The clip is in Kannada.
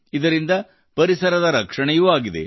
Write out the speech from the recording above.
ಇದರಿಂದ ಪರಿಸರದ ರಕ್ಷಣೆಯೂ ಆಗಿದೆ